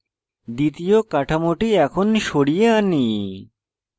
দ্বিতীয় কাঠামোটি এখন সরিয়ে আনি